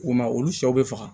U ma olu sɛw bɛ faga